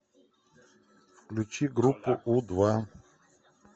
включи группу у два